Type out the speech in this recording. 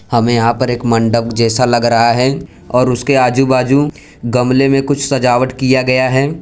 हमें यहां पर एक मंडप जैसा लग रहा है और उसके आजू बाजू गमले में कुछ सजावट किया गया है।